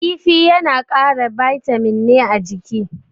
Kifi yana kara bitamin ne a jiki.